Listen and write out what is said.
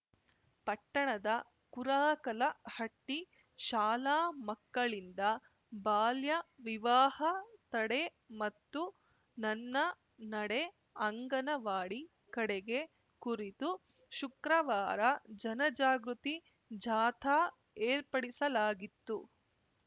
ಪಟ್ಟಣದ ಕುರಾಕಲಹಟ್ಟಿಶಾಲಾ ಮಕ್ಕಳಿಂದ ಬಾಲ್ಯ ವಿವಾಹ ತಡೆ ಮತ್ತು ನನ್ನ ನಡೆ ಅಂಗನವಾಡಿ ಕಡೆಗೆ ಕುರಿತು ಶುಕ್ರವಾರ ಜನ ಜಾಗೃತಿ ಜಾಥಾ ಏರ್ಪಡಿಸಲಾಗಿತ್ತು